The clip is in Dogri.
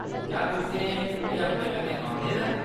क्या तुसें एह् अपने कन्नै आंह्‌‌‌दे दा ऐ ?